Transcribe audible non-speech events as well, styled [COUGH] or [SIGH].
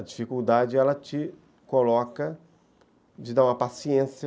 A dificuldade te coloca [UNINTELLIGIBLE] uma paciência